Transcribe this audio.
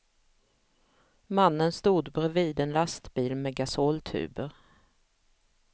Mannen stod bredvid en lastbil med gasoltuber.